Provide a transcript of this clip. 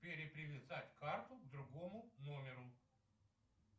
перепривязать карту к другому номеру